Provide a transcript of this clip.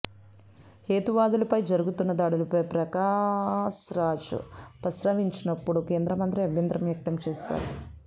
హేతువాదులపై జరుగుతున్న దాడులపై ప్రకాశ్రాజ్ ప్రస్తావించినపుడు కేంద్రమంత్రి అభ్యంతరం వ్యక్తం చేశారు